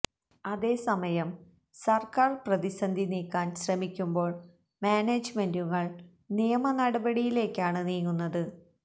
അതേ സമയം സർക്കാർ പ്രതിസന്ധി നീക്കാൻ ശ്രമിക്കുമ്പോൾ മാനേജ്മെന്റുകൾ നിയമനടപടയിലേക്കാണ് നീങ്ങുന്നത്